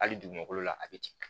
Hali dugumakolo la a bɛ ci